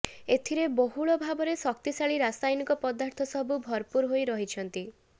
ଏଥିରେ ବହୁଳ ଭାବରେ ଶକ୍ତିଶାଳୀ ରାସାୟନିକ ପଦାର୍ଥ ସବୁ ଭରପୁର ହୋଇ ରହିଛିନ୍ତି